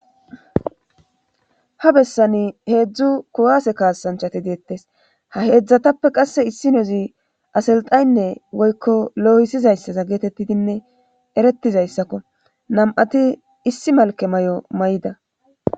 Ha bessani heedzdzu kuwase kaasanchati deettes ha heedzdzatappe qasse issi na7azi aselxaynne woykko looyisizayssaza geetettidinne eretizayssakko nam7ati issi malke may7o may7ida.